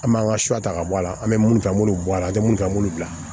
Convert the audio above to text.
An b'an ka suwata ka bɔ a la an bɛ mun ta an b'olu bɔ a la an bɛ mun ta an b'olu bila